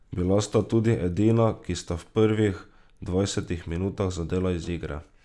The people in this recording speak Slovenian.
Bila sta tudi edina, ki sta v prvih dvajsetih minutah zadela iz igre.